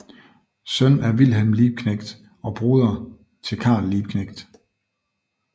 Søn af Wilhelm Liebknecht og broder til Karl Liebknecht